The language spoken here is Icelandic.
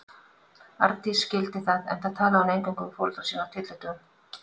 Arndís skildi það, enda talaði hún eingöngu við foreldra sína á tyllidögum.